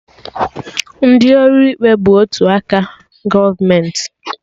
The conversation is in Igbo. Ndị ọrụ ikpe bụ otu aka gọọmenti